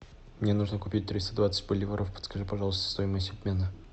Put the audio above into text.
мне нужно купить триста двадцать боливаров подскажи пожалуйста стоимость обмена